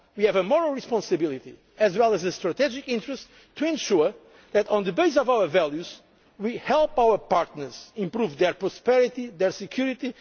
are proud of. We have a moral responsibility, as well as a strategic interest, to ensure that, on the basis of our values, we help our partners to improve their prosperity and